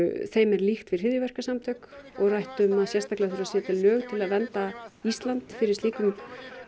þeim er líkt við hryðjuverkasamtök og rætt um að sérstaklega þurfi að setja lög til þess að vernda Ísland fyrir slíkum